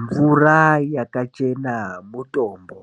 Mvura yakachena mutombo.